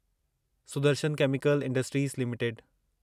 Sudarshan chemical industries limited